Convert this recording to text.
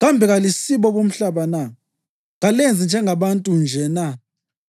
kambe kalisibo bomhlaba na? Kalenzi njengabantu nje na?